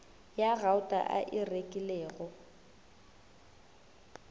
ya gauta a e rekilego